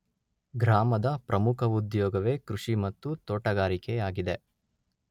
ಗ್ರಾಮದ ಪ್ರಮುಖ ಉದ್ಯೋಗವೇ ಕೃಷಿ ಮತ್ತು ತೋಟಗಾರಿಕೆಯಾಗಿದೆ.